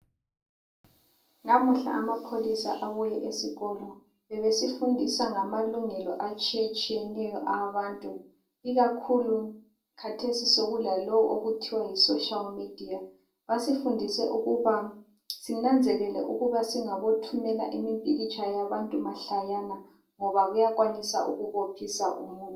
Namuhla amapholisa abuye esikolo. Ebesifundisa ngamalungelo atshiyetshiyeneyo awabantu ikakhulu khathesi sokulalowu okuthiwa yi social media. Basifundise ukuba sinanzelele ukuba singabothumela imipikitsha yabantu mahlayana ngoba kuyakwanisa ukubophisa umuntu.